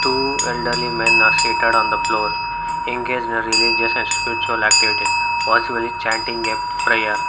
Two elderly men are seated on the floor engage in religious spiritual activities possibly chanting a prayer.